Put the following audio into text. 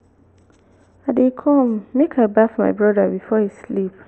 i dey come make i baff my broda before e sleep